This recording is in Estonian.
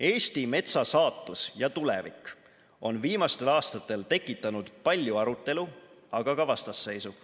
Eesti metsa saatus ja tulevik on viimastel aastatel tekitanud palju arutelu, aga ka vastasseisu.